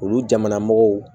Olu jamanamɔgɔw